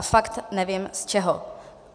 A fakt nevím z čeho.